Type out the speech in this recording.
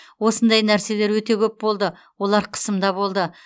осындай нәрселер өте көп болды олар қысымда болды